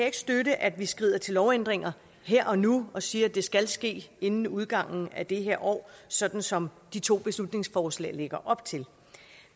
ikke støtte at vi skrider til lovændringer her og nu og siger at det skal ske inden udgangen af det her år sådan som de to beslutningsforslag lægger op til